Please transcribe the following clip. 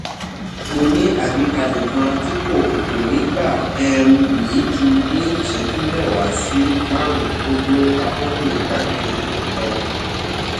mọ ní àgbékalẹ kan tí kò kò ní gbà um yin jù ní ìṣẹjú mẹwa sí márundínlógún àkókò ìgbafẹ yin um